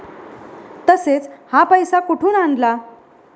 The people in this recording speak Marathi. तसेच, हा पैसा कुठून आणला?